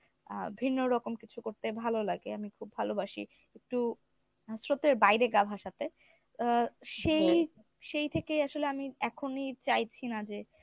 আ ভিন্ন রকম কিছু করতে ভালো লাগে আমি খুব ভালোবাসি একটু স্রোতের বাইরে গা ভাসাতে আর সেই সেই থেকেই আসলে আমি এখনই চাইছি না যে,